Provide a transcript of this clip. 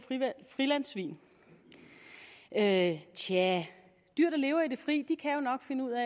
frilandssvin tja tja dyr der lever i det fri kan jo nok finde ud af